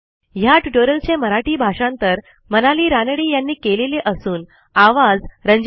ह्या ट्युटोरियलचे मराठी भाषांतर मनाली रानडे यांनी केलेले असून आवाज